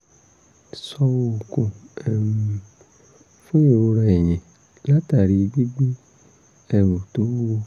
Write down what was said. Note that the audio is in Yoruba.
sọ oògùn um fún ìrora ẹ̀yìn látàri gbígbé ẹrù tó wúwo